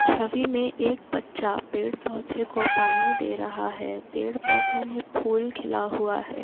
छवि में एक बच्चा पेड़ पौधे को पानी दे रहा है। पेड़ पौधों में फूल खिला हुआ है।